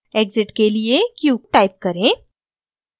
exit के लिए q type करें